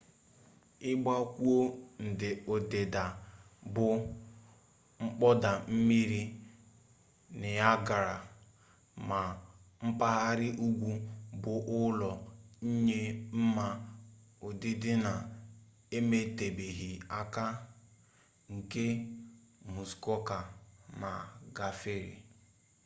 igakwuo ndida bu mkpoda-mmiri niagara ma mpaghara ugwu bu ulo nye nma udidi na emetubeghi aka nke muskoka ma gafere